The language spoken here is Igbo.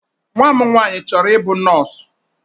Nwa m nwanyị chọrọ ịbụ nọọsụ.